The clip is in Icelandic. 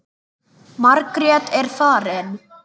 Margrét er farin.